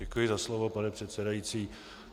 Děkuji za slovo, pane předsedající.